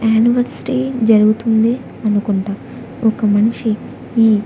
anniversary జరుగుతుంది అనుకుంటా ఒక మనిషి ఈ--